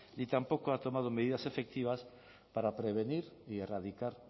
ni tampoco ha tomado medidas efectivas para prevenir y erradicar